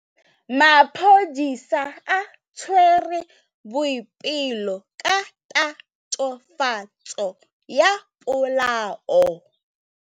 Maphodisa a tshwere Boipelo ka tatofatsô ya polaô.